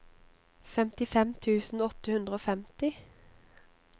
femtifem tusen åtte hundre og femti